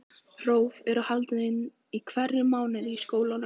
Próf voru haldin í hverjum mánuði í skólanum.